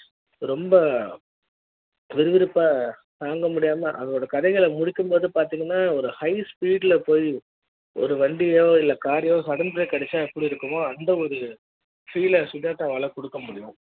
ரொம்ப விருவிருப்பா தாங்க முடியாம அதோட கதைகள முடி க்கும் போது பாத்திங்கன்னா ஒரு high speed ல போய் ஒரு வண்டியோ car யோ sudden break அடிச்சா எப்படி இருக்கும் அந்த ஒரு feel சுஜாதாவால குடுக்க முடியும்